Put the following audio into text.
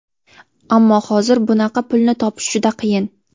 Ammo hozir bunaqa pulni topish juda qiyin.